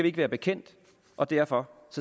ikke være bekendt og derfor